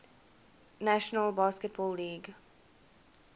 national basketball league